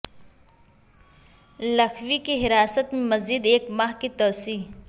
لکھوی کی حراست میں مزید ایک ماہ کی توسیع